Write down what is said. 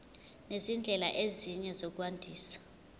nezindlela ezinye zokwandisa